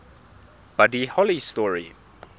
buddy holly story